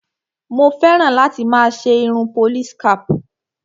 Mo fẹ́ràn láti máa ṣe irun police cap.